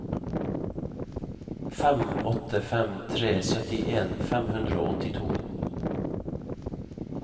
fem åtte fem tre syttien fem hundre og åttito